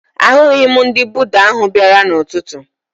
Ahụghị m ndị Buda ahụ bịara n'ụtụtụ